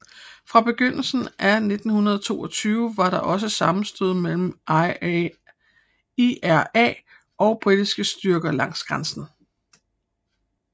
Fra begyndelsen af 1922 var der også sammenstød mellem IRA og britiske styrker langs grænsen